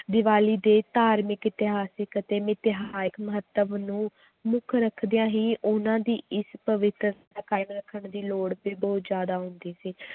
ਦੀਵਾਲੀ ਦੇ ਧਾਰਮਿਕ ਇਤਿਹਾਸਕ ਅਤੇ ਮਹੱਤਵ ਨੂੰ ਮੁੱਖ ਰੱਖਦਿਆਂ ਹੀ ਉਹਨਾਂ ਦੀ ਇਸ ਪਵਿਤਰਤਾ ਕਾਇਮ ਰੱਖਣ ਦੀ ਲੋੜ ਤੇ ਬਹੁਤ ਜ਼ਿਆਦਾ ਹੁੰਦੀ ਸੀ